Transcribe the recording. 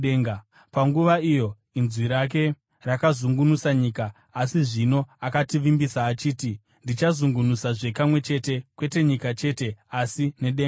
Panguva iyo inzwi rake rakazungunusa nyika, asi zvino akativimbisa, achiti, “Ndichazungunusazve kamwe chete, kwete nyika chete, asi nedengawo.”